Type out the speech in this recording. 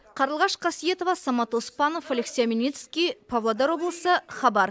қарлығаш қасиетова самат оспанов алексей омельницкий павлодар облысы хабар